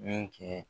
Min kɛ